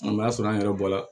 O b'a sɔrɔ an yɛrɛ bɔra